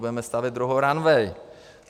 Budeme stavět druhou ranvej.